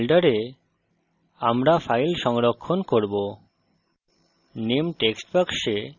তারপর এই folder আমরা file সংরক্ষণ করব